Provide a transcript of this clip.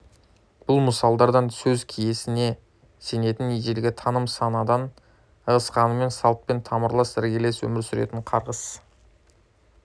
бұл мысалдардан сөз киесіне сенетін ежелгі таным санадан ығысқанымен салтпен тамырлас іргелес өмір сүретін қарғыс